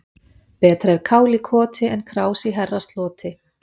Betra er kál í koti en krás í herrasloti.